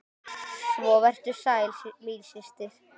Svo vertu sæl, mín systir!